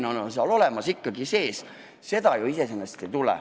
Kasumimarginaal on ikkagi olemas.